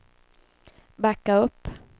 backa upp